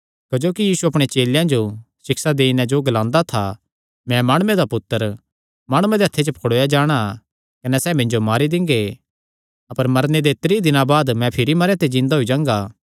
क्जोकि यीशु अपणे चेलेयां जो सिक्षा देई नैं तिन्हां जो ग्लांदा था मैं माणुये दा पुत्तर माणुआं दे हत्थे च पकड़ुआया जाणा कने सैह़ मिन्जो मारी दिंगे कने मरने दे त्रीं दिनां बाद मैं भिरी जिन्दा होई जांगा